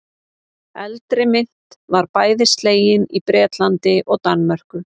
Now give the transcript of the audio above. Eldri mynt var bæði slegin í Bretlandi og Danmörku.